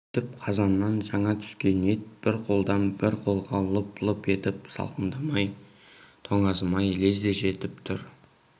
сөйтіп қазаннан жаңа түскен ет бір қолдан бір қолға лып-лып етіп салқындамай тоңазымай лезде жетіп тұр